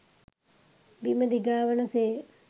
බිම දිගාවන සේ